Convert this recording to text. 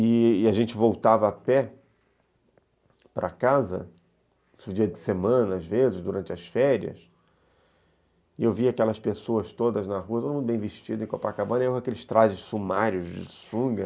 E a gente voltava a pé para casa, nos dias de semana, às vezes, durante as férias, e eu via aquelas pessoas todas na rua, todo mundo bem vestido, em Copacabana, e eu com aqueles trajes sumários de sunga.